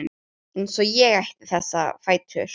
Eins og ég ætti þessa fætur.